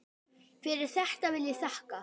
Fyrir þetta vil ég þakka.